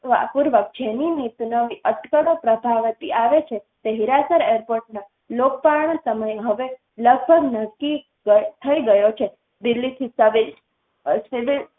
વાહપુર વ જેની નિતનવી અટકળો પ્રભાવતી આવે છે, તે હીરાસર airport ના લોકપર્ણ સમય હવે લગભગ નક્કી કર થઈ ગયો છે. દિલ્હી થી સબે અ સિવિલ